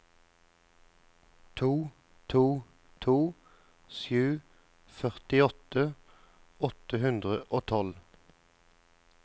to to to sju førtiåtte åtte hundre og tolv